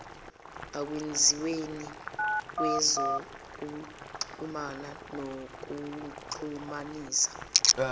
ekwenziweni kwezokuxhumana nokuxhumanisa